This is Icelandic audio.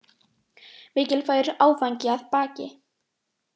Mikilvægur áfangi að baki